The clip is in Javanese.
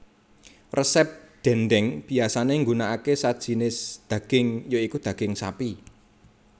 Resep dhèndhèng biyasané nggunakake sajinis dhaging ya iku dhaging sapi